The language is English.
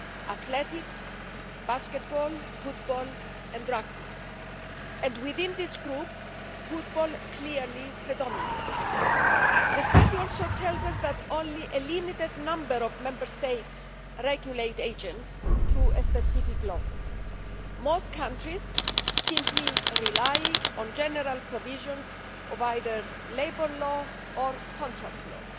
athletics, basketball, football and rugby. And within this group, football clearly predominates. The study also tells us that only a limited number of Member States regulate agents through a specific law. Most countries simply rely on general provisions of either labour law or contract law.